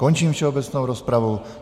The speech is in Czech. Končím všeobecnou rozpravu.